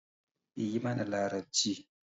Yi mana larabci.